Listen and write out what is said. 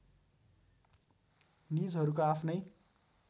निजहरूको आफ्नै